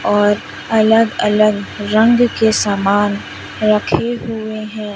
और अलग अलग रंग के सामान रखे हुए हैं।